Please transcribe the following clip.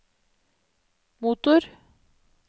motor